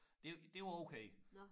Det det var okay